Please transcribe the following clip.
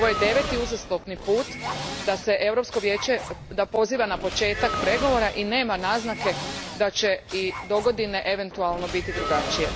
Ovo je deveti uzastopni put da se Europsko vijeće poziva na početak pregovora i nema naznake da će i dogodine eventualno biti drugačije.